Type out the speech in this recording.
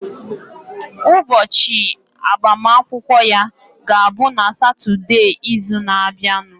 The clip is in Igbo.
Ụbọchị agbamakwụkwọ ya ga-abụ na Satọdee izu na abianu